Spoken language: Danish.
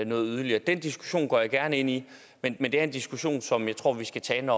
noget yderligere den diskussion går jeg gerne ind i men men det er en diskussion som jeg tror vi skal tage